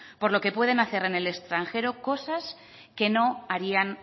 por lo que pueden hacer en el extranjero cosas que no harían